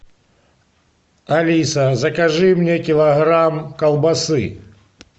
алиса закажи мне килограмм колбасы